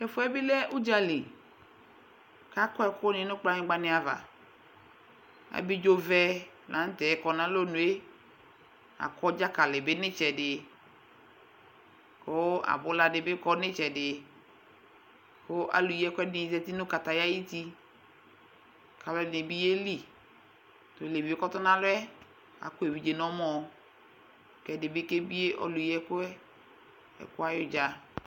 tʋɛfuɛbi lɛ ʋdzali kʋ akɔ ɛkʋ ni nu kplanyigba ni ava abidzovɛ lanʋtɛ kɔnʋ alɔnʋe akɔ dzakalibi nu itsɛdi kʋ abʋladibi kɔ nʋ itsɛdi kʋ alʋyi ɛkʋ ɛdinibi zati nu kataya ayʋʋti kʋ alʋɛdini biyeli tʋ ɔlevie kʋɔtɔnʋ alɔɛ akɔ evidze nu ɛmɔɔ kɛɛdibi kebie alʋyiɛkʋɛ ɛkʋɛ ayʋdza